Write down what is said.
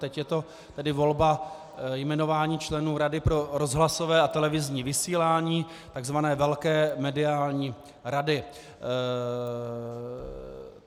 Teď je to tedy volba, jmenování členů Rady pro rozhlasové a televizní vysílání, tzv. velké mediální rady.